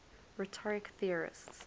rhetoric theorists